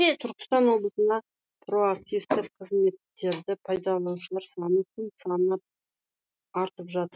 түркістан облысында проактивті қызметтерді пайдаланушылар саны күн санап артып жатыр